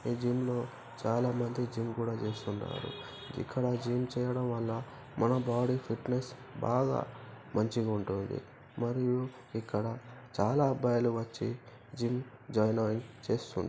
ఈ జిమ్ లో చాలా మంది జిమ్ కూడా చేస్తున్నారు ఇక్కడ జిమ్ చేయడం వళ్ళ మన బాడీ ఫిట్నెస్ బాగా మంచిగా ఉంటుంది మరియు మనకి ఇక్కడ చాలా అబ్బాయిలు వచ్చి జిమ్ జాయిన్ అయి చేస్తున్నా--